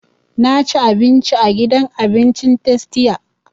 Na ci abinci a gidan abincin tastia